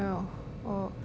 og